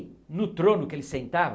no trono que ele sentava,